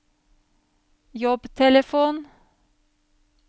jobbtelefon